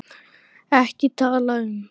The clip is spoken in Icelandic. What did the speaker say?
EKKI TALA UM